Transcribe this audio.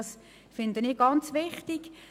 Das finde ich ganz wichtig.